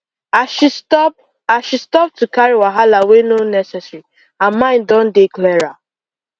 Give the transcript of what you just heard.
as she stop as she stop to carry wahala wey no necessary her mind don dey clearer